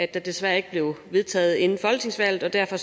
desværre ikke blev vedtaget inden folketingsvalget og derfor